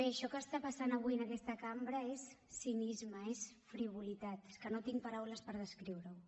això que està passant avui en aquesta cambra és cinisme és frivolitat és que no tinc paraules per descriure ho